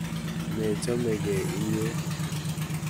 Mechomei inyee?